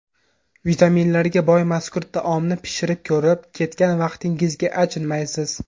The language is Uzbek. Vitaminlarga boy mazkur taomni pishirib ko‘rib, ketgan vaqtingizga achinmaysiz.